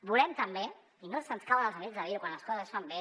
volem també i no ens cauen els anells per dir ho quan les coses es fan bé